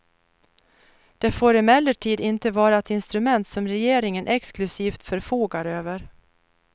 Det får emellertid inte vara ett instrument som regeringen exklusivt förfogar över.